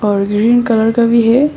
और green colour का भी है।